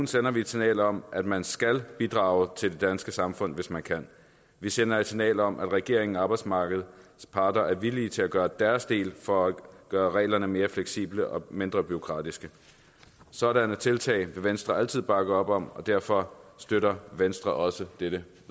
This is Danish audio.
sender vi et signal om at man skal bidrage til det danske samfund hvis man kan vi sender et signal om at regeringen og arbejdsmarkedets parter er villige til at gøre deres del for at gøre reglerne mere fleksible og mindre bureaukratiske sådanne tiltag vil venstre altid bakke op om og derfor støtter venstre også dette